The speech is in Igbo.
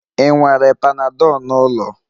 Ị nwere panadol n'ụlọ?